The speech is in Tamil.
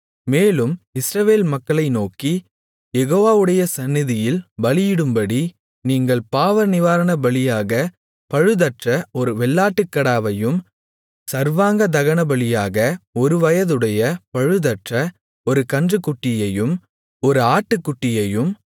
மேலும் இஸ்ரவேல் மக்களை நோக்கி யெகோவாவுடைய சந்நிதியில் பலியிடும்படி நீங்கள் பாவநிவாரணபலியாக பழுதற்ற ஒரு வெள்ளாட்டுக்கடாவையும் சர்வாங்க தகனபலியாக ஒருவயதுடைய பழுதற்ற ஒரு கன்றுக்குட்டியையும் ஒரு ஆட்டுக்குட்டியையும்